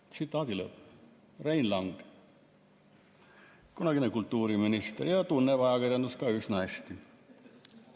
Rein Lang, kunagine kultuuriminister, kes tunneb ajakirjandust üsna hästi.